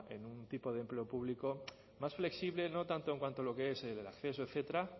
en un tipo de empleo público más flexible no tanto en cuanto a lo que es el acceso etcétera